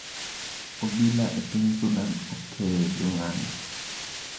Obila e piny Sudan okeyo jong'anyo.